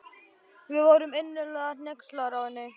Við vorum innilega hneykslaðar á henni.